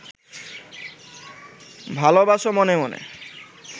ভালবাস মনে মনে